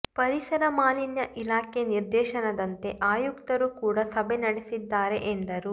ಪರಿಸರ ಮಾಲಿನ್ಯ ಇಲಾಖೆ ನಿರ್ದೇಶನದಂತೆ ಆಯುಕ್ತರು ಕೂಡ ಸಭೆ ನಡೆಸಿದ್ದಾರೆ ಎಂದರು